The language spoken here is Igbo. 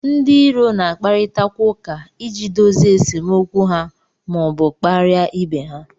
Ndị iro na-akparịtakwa ụka iji dozie esemokwu ha ma ọ bụ kparịa ibe ha